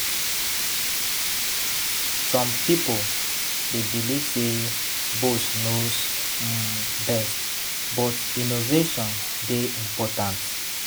Some pipo dey believe say "boss knows um best," but innovation dey important.